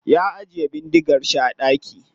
Ya ajiye bindigar shi a daki.